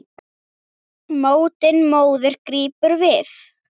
Öndina móðir grípum við.